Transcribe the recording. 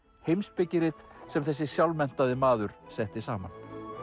heimspekirit sem þessi sjálfmenntaði maður setti saman